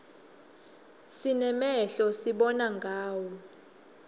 sinemehlo sibona ngawo